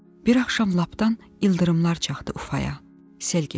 Bir axşam lapdan ildırımlar çaxdı Ufaya, sel getdi.